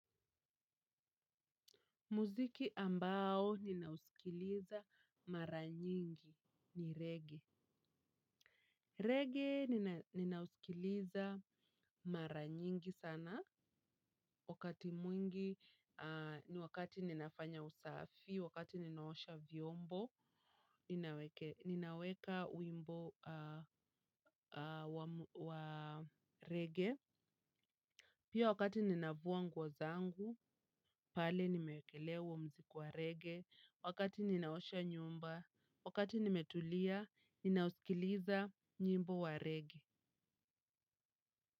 Muziki ambao ninausikiliza mara nyingi ni reggae. Reggae ninausikiliza mara nyingi sana wakati mwingi ni wakati ninafanya usafi, wakati ninaosha vyombo, ninaweka wimbo wa reggae. Pia wakati ninafua nguo zangu, pale nimeekelea huo mziki wa reggae, wakati ninaosha nyumba, wakati nimetulia, ninausikiliza nyimbo wa reggae.